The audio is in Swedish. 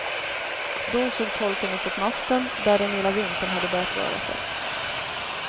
Då såg tolken uppåt masten, där den lilla vimpeln hade börjat röra sig.